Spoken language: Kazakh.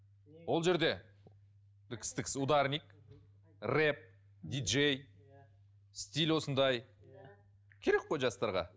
ол жерде ударник рэп ди джей стиль осындай керек қой жастарға